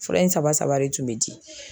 Fura in saba saba de tun bɛ di